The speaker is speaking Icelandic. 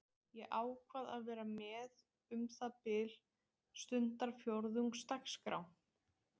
Ég ákvað að vera með um það bil stundarfjórðungs dagskrá.